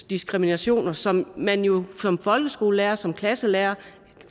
diskrimination som man jo som folkeskolelærer som klasselærer